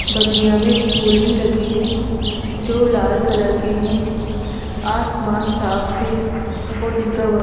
बगिया में फूल भी लगे हैं जो लाल कलर के हैं आसमान साफ है और दिन का वक्त--